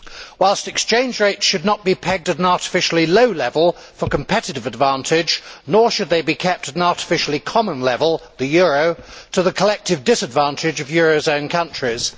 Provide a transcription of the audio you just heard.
While exchange rates should not be pegged at an artificially low level for competitive advantage, nor should they be kept at an artificially common level the euro to the collective disadvantage of eurozone countries.